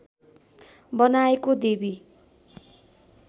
बनाएको देवी